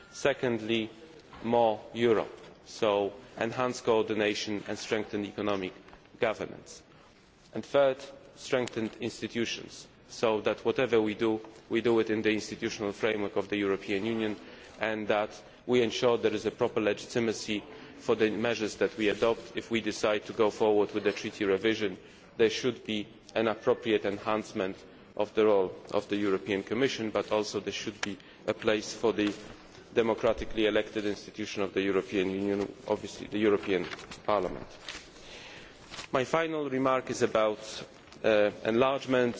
within the twenty seven. Secondly, more Europe, so enhanced coordination and strengthened economic governance. And thirdly, strengthened institutions, so that whatever we do, we do it within the institutional framework of the European Union and we ensure that there is a proper legitimacy for the measures which we adopt if we decide to go forward with the Treaty revision. There should be an appropriate enhancement of the role of the European Commission, but also there should be a place for the democratically elected institution of the European Union, obviously the European Parliament. My final